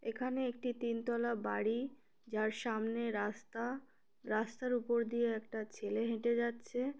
এখানে একটি তিন তলা বাড়ি যার সামনে রাস্তা রাস্তার উপর দিয়ে একটা ছেলে হেঁটে যাচ্ছে।